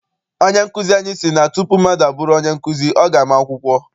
Onye nkụzi anyị si na tupu mmadụ abụrụ onye nkụzi, ọ ga ama akwụkwọ.